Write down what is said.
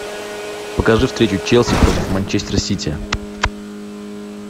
покажи встречу челси против манчестер сити